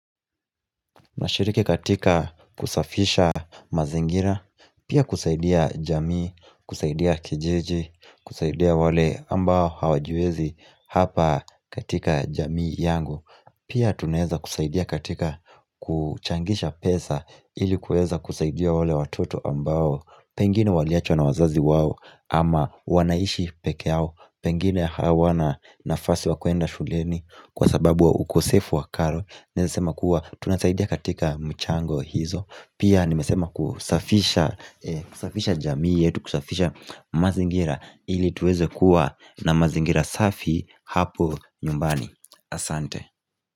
Nashiriki katika kusafisha mazingira. Pia kusaidia jamii, kusaidia kijiji, kusaidia wale ambao hawajiwezi hapa katika jamii yangu. Pia tunaweza kusaidia katika kuchangisha pesa. Ili kuweza kusaidia wale watoto ambao pengine waliachwa na wazazi wao, ama wanaishi peke yao. Pengine hawana nafasi wa kuenda shuleni kwa sababu wa ukosefu wa karo. Naeza sema kuwa tunasaidia katika michango hizo. Pia nimesema kusafisha jamii yetu kusafisha mazingira ili tuweze kuwa na mazingira safi hapo nyumbani. Asante.